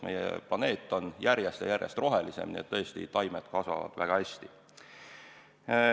Meie planeet on järjest ja järjest rohelisem ja tõesti, taimed kasvavad väga hästi.